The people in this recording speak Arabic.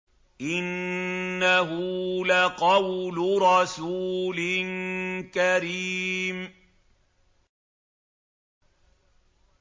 إِنَّهُ لَقَوْلُ رَسُولٍ كَرِيمٍ